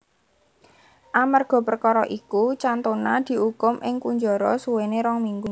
Amerga perkara iku Cantona diukum ing kunjara suwene rong minggu